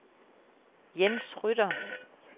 Jens Rytter